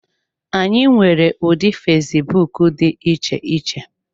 Anyị nwere ụdị fesbụụk dị iche iche.